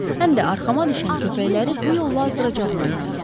Həm də arxama düşən köpəkləri bu yolla azdıracağıma inanırdım.